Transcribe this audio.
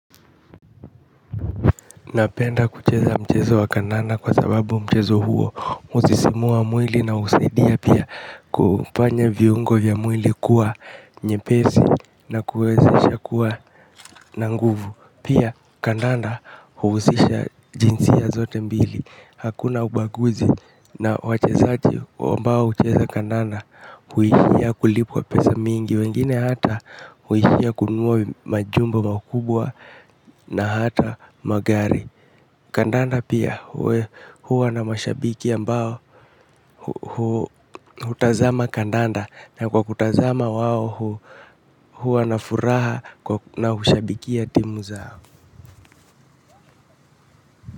Napenda kucheza mchezo wa kandanda kwa sababu mchezo huo usisimua mwili na usaidia pia kufanya viungo ya mwili kuwa nyepesi na kuwezesha kuwa nanguvu. Pia kandanda huhusisha jinsia zote mbili. Hakuna ubaguzi na wachezaji wa mbao ucheza kandanda huishia kulipwa pesa mingi wengine hata huishia kununua majumba makubwa na hata magari. Kandanda pia huwa na mashabiki ambao hutazama kandanda. Na kwa kutazama wao huwa na furaha na hushabikia timu zao.